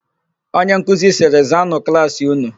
Onyenkuzi sịrị, "zaanụ klaasị ụnụ"!